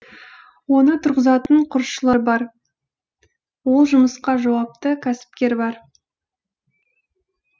оны тұрғызатын құрылысшылар бар ол жұмысқа жауапты кәсіпкер бар